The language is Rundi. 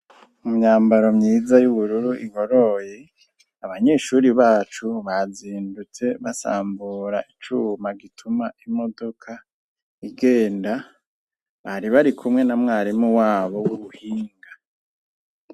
Imyambaro myiza y'ubururu igoroye, abanyeshuri bacu bazindutse basambura icuma gituma imodoka igenda, bari bari kumwe na mwarimu wabo w'ubuhinga.